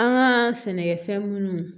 An ka sɛnɛkɛfɛn munnu